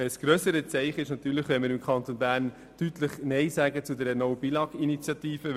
Ein noch grösseres Zeichen wäre es, wenn wir hier im Kanton Bern deutlich Nein sagen würden zur «No Billag»-Initiative.